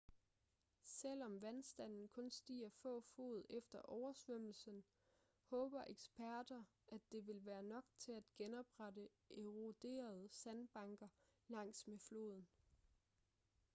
selvom vandstanden kun stiger få fod efter oversvømmelsen håber eksperter at det vil være nok til at genoprette eroderede sandbanker langs med floden